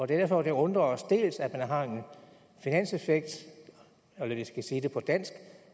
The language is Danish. derfor at det undrer os dels at man har en finanseffekt eller jeg skal sige det på dansk